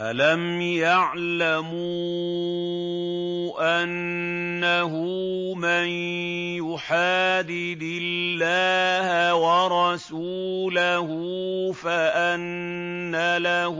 أَلَمْ يَعْلَمُوا أَنَّهُ مَن يُحَادِدِ اللَّهَ وَرَسُولَهُ فَأَنَّ لَهُ